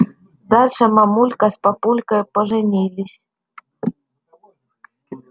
дальше мамулька с папулькой поженились